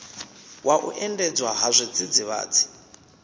wa u endedzwa ha zwidzidzivhadzi